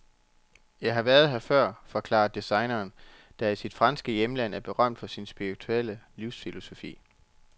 Jeg har været her før, forklarer designeren, der i sit franske hjemland er berømt for sin spirituelle livsfilosofi.